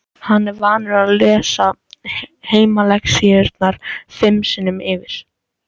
Hann er vanur að lesa heimalexíurnar fimm sinnum yfir.